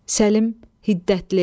Səlim hiddətli.